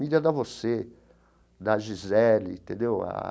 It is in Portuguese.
Mídia dá você, dá Gisele, entendeu a?